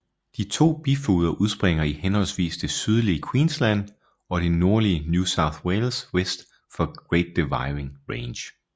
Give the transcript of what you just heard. De to bifloder udspringer i henholdsvis det sydlige Queensland og det nordlige New South Wales vest for Great Dividing Range